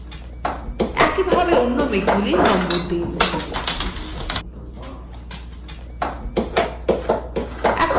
একইভাবে অন্যান্য মেঘগুলির number দিন